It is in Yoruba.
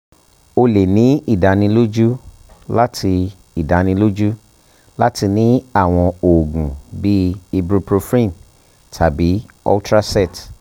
o le ni idaniloju lati idaniloju lati ni awọn oogun bii ibuprofen tabi ultracet